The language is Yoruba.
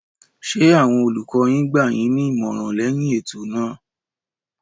Ṣé àwọn olùkọ yín gbà yín ní ìmọ̀ràn lẹyìn ètò náà.